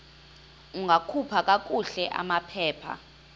ungakhupha kakuhle amaphepha